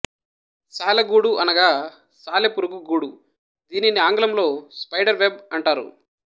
సాలెగూడు అనగా సాలెపురుగు గూడు దీనిని ఆంగ్లంలో స్పైడర్ వెబ్ అంటారు